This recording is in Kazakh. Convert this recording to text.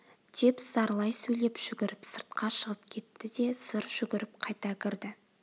деп зарлай сөйлеп жүгіріп сыртқа шығып кетті де зыр жүгіріп қайта кірді